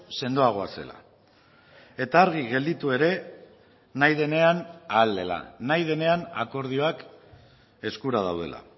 sendoagoa zela eta argi gelditu ere nahi denean ahal dela nahi denean akordioak eskura daudela